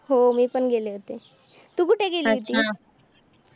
हो. मी पण गेले होते. तू कुठे गेली होतीस?